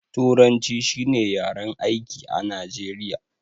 Turanci shi ne yaren aiki a najeriya